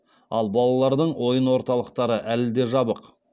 ал балалардың ойын орталықтары әлі де жабық